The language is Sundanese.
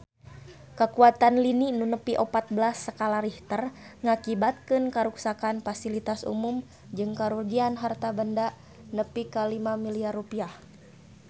Kakuatan lini nu nepi opat belas skala Richter ngakibatkeun karuksakan pasilitas umum jeung karugian harta banda nepi ka 5 miliar rupiah